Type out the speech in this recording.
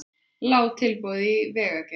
Lág tilboð í vegagerð